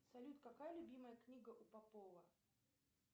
салют какая любимая книга у попова